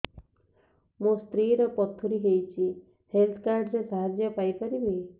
ମୋ ସ୍ତ୍ରୀ ର ପଥୁରୀ ହେଇଚି ହେଲ୍ଥ କାର୍ଡ ର ସାହାଯ୍ୟ ପାଇପାରିବି